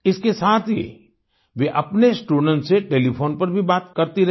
इसके साथ ही वे अपने स्टूडेंट्स से टेलीफोन पर भी बात करती रहीं